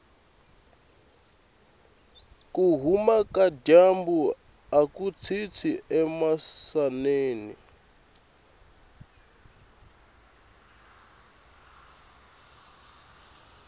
kuhhuma kajambu akutshintshi emisaveni